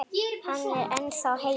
Hann er ennþá heitur.